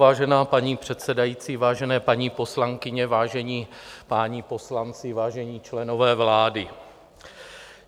Vážená paní předsedající, vážené paní poslankyně, vážení páni poslanci, vážení členové vlády.